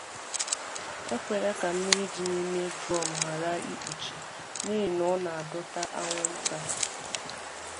Ekwela ka mmiri dị n’ime drọm ghara ikpuchi, n’ihi na ọ na-adọta anwụnta.